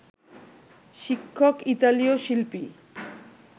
শিক্ষক ইতালীয় শিল্পী